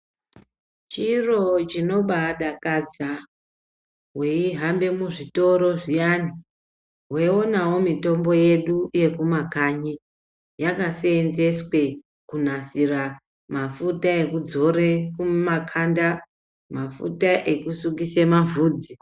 Chiro chinobaadakadza, weihambe muzvitoro zviyani, weinonawo mitombo yedu yekumakanyi, yakaseenzeswe kunasira mafuta ekudzore kumakhanda, mafuta ekusukise mavhudzi.